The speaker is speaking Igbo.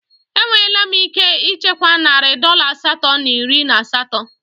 Enwela m ike ichekwa narị dọla asatọ na iri na asatọ.